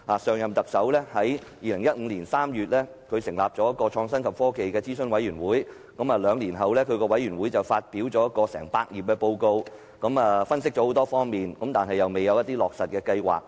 上任特首於2015年3月成立創新及科技諮詢委員會，兩年後，該委員會發表一份長達百頁的報告，作出詳細分析，但沒有提到落實計劃。